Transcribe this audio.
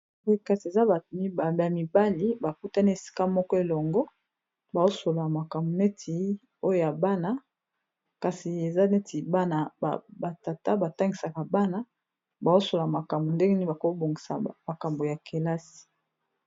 Boye kasi eza ba mibali bakutani esika moko elongo baosolola makambu neti oyo ya bana, kasi eza neti bana batata batangisaka bana baosolola makambo ndenge nini bakobongisa makambu ya kelasi.